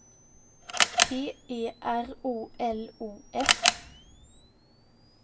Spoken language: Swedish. P E R O L O F